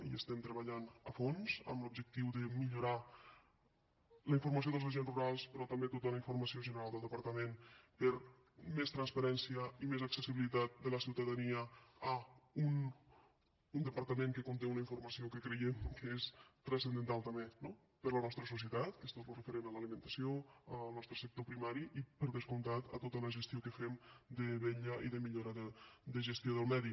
hi estem treballant a fons amb l’objectiu de millorar la informació dels agents rurals però també tota la informació general del departament per a més transparència i més accessibilitat de la ciutadania a un departament que conté una informació que creiem que és transcendental també no per a la nostra societat que és tot el referent a l’alimentació al nostre sector primari i per descomptat a tota la gestió que fem de vetlla i de millora de gestió del medi